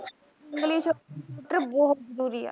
english or computer ਬਹੁਤ ਜਰੂਰੀ ਆ